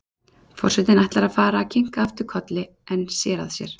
Forsetinn ætlar að fara að kinka aftur kolli en sér að sér.